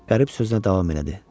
Qərib sözünə davam elədi.